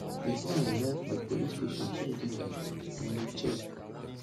bifor i lerf di police station tuesday night na di chef